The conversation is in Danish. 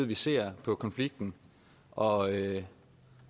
vi ser med konflikten og